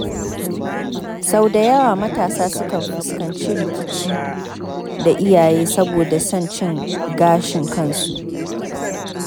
Sau da yawa matasa sukan fuskanci rikici da iyaye saboda son cin gashin kansu.